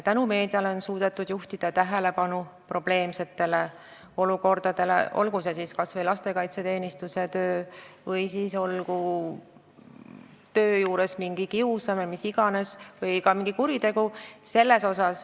Tänu meediale on suudetud juhtida tähelepanu probleemsetele olukordadele, olgu siis lastekaitseteenistuse tööle või töö juures toimuvale mingile kiusamisele, millele iganes, või ka mingile kuriteole.